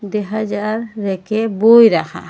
তে হাজার ব়্যাকে বই রাখা।